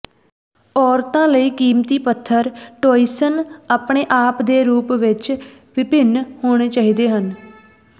ਔਰਤਾਂ ਲਈ ਕੀਮਤੀ ਪੱਥਰ ਟੌਇਂਸਨ ਆਪਣੇ ਆਪ ਦੇ ਰੂਪ ਵਿੱਚ ਵਿਭਿੰਨ ਹੋਣੇ ਚਾਹੀਦੇ ਹਨ